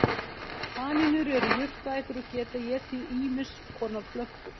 Kanínur eru jurtaætur og geta étið ýmiss konar plöntur.